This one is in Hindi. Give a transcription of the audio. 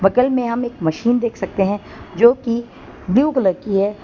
बगल में हम एक मशीन देख सकते है जो कि ब्लू कलर की है।